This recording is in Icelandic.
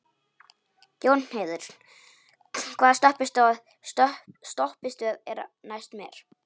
Jónheiður, hvaða stoppistöð er næst mér?